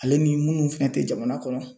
Ale ni munnu fɛnɛ tɛ jamana kɔnɔ